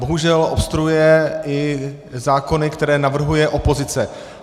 Bohužel obstruuje i zákony, které navrhuje opozice.